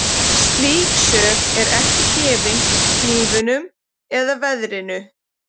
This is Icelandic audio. Slík sök er ekki gefin hnífnum eða veðrinu.